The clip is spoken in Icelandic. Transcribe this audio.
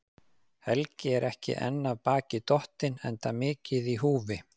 Helgi er ekki enn af baki dottinn, enda mikið í húfi.